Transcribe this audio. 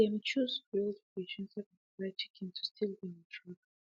dem choose grilled fish instead of fried chicken to still dey on track